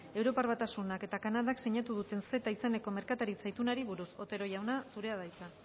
europar batasunak eta kanadak sinatu duten ceta izeneko merkataritza itunari buruz otero jauna zurea da hitza